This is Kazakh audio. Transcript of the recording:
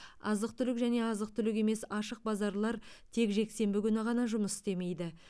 азық түлік және азық түлік емес ашық базарлар тек жексенбі күні ғана жұмыс істемейді